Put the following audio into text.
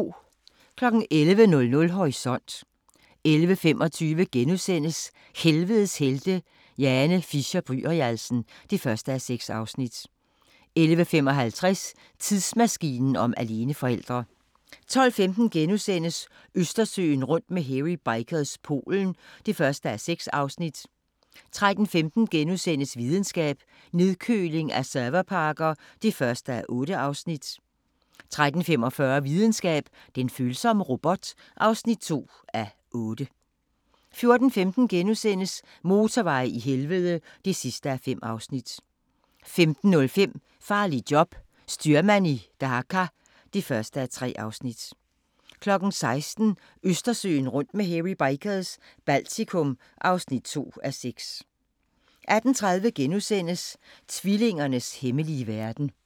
11:00: Horisont 11:25: Helvedes helte – Jane Fisher-Byrialsen (1:6)* 11:55: Tidsmaskinen om aleneforældre 12:15: Østersøen rundt med Hairy Bikers – Polen (1:6)* 13:15: Videnskab: Nedkøling af serverparker (1:8)* 13:45: Videnskab: Den følsomme robot (2:8) 14:15: Motorveje i helvede (5:5)* 15:05: Farligt job – styrmand i Dhaka (1:3) 16:00: Østersøen rundt med Hairy Bikers – Baltikum (2:6) 18:30: Tvillingernes hemmelige verden *